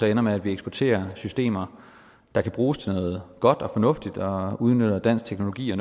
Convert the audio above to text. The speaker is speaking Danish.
ender med at vi eksporterer systemer der kan bruges til noget godt og fornuftigt og udnytter dansk teknologi og